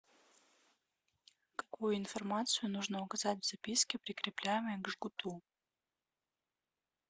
какую информацию нужно указать в записке прикрепляемой к жгуту